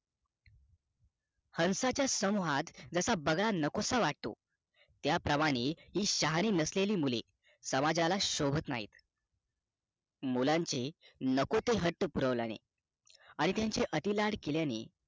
हंसाच्या संमूहात जसा बगार नकोस वाटतो त्या प्रमाणे हि शहाणी नसलेली मुले समाजाला शोभत नाही. मुलांचे नको ते हट्ट पुरवल्याने आणि त्यांचे अति लाड केल्याने